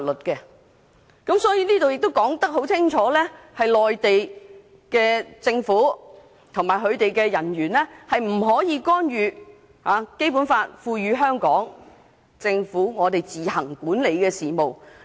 因此，這項條文清楚訂明，內地政府機構及其人員不得干預《基本法》賦予香港特區政府自行管理的事務。